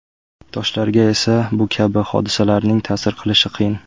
Toshlarga esa bu kabi hodisalarning ta’sir qilishi qiyin.